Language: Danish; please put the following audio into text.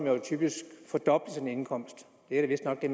jo typisk fordoble sin indkomst det er da vistnok det